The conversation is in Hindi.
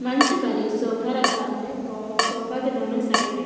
मंच पर ए सोफा रखा है और सोफा के दोनों साइट --